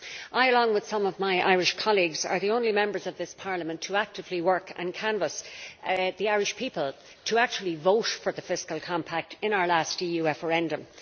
I and some of my Irish colleagues were the only Members of this Parliament to actively work and canvas the Irish people to actually vote for the fiscal compact in our last EU referendum.